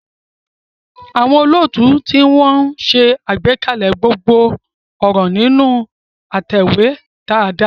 Àwọn olóòtú tí wọ́n ń ṣe àgbékalẹ̀ gbogbo ọ̀rọ̀ nínú ìtẹ̀wé dáadáa.